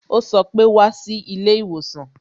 Ó sọ pé "Wá sí ilé ìwòsàn"